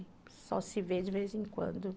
só se ver de vez em quando